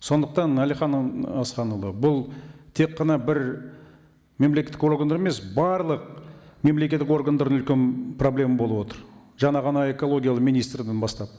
сондықтан әлихан ы асханұлы бұл тек қана бір мемлекеттік органда емес барлық мемлекеттік органдарда үлкен проблема болып отыр жаңа ғана экологиялық министрден бастап